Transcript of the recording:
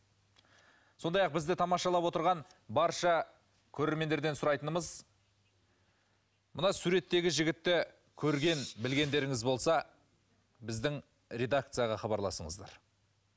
сондай ақ бізді тамашалап отырған барша көрермендерден сұрайтынымыз мына суреттегі жігітті көрген білгендеріңіз болса біздің редакцияға хабарласыңыздар